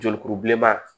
Jolikuru bilenman